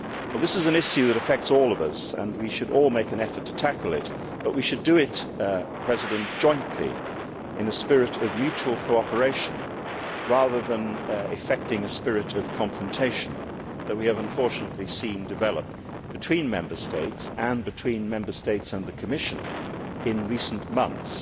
This is an issue that affects all of us, and we should all make an effort to tackle it, but we should do it jointly in a spirit of mutual cooperation, rather than effecting a spirit of confrontation, which we have unfortunately seen develop between Member States, and between Member States and the Commission, in recent months.